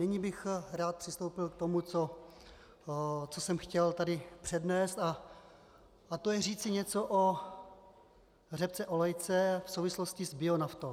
Nyní bych rád přistoupil k tomu, co jsem chtěl tady přednést, a to je říci něco o řepce olejce v souvislosti s bionaftou.